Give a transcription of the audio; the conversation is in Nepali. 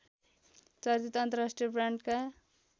चर्चित अन्तर्राष्ट्रिय ब्रान्डका